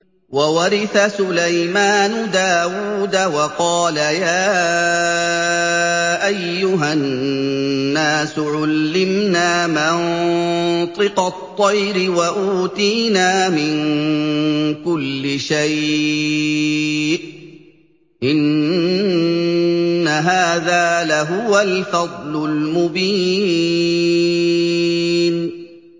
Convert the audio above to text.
وَوَرِثَ سُلَيْمَانُ دَاوُودَ ۖ وَقَالَ يَا أَيُّهَا النَّاسُ عُلِّمْنَا مَنطِقَ الطَّيْرِ وَأُوتِينَا مِن كُلِّ شَيْءٍ ۖ إِنَّ هَٰذَا لَهُوَ الْفَضْلُ الْمُبِينُ